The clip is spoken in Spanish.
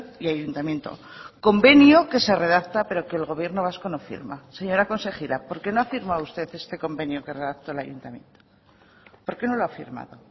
y ayuntamiento convenio que se redacta pero que el gobierno vasco no firma señora consejera por qué no ha firmado usted este convenio que redactó el ayuntamiento por qué no lo ha firmado